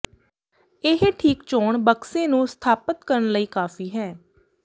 ਇਹ ਠੀਕ ਚੋਣ ਬਕਸੇ ਨੂੰ ਸਥਾਪਤ ਕਰਨ ਲਈ ਕਾਫ਼ੀ ਹੈ